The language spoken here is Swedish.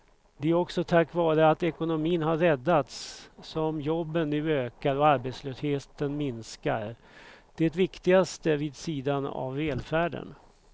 Det är också tack vare att ekonomin har räddats som jobben nu ökar och arbetslösheten minskar, det viktigaste vid sidan av välfärden.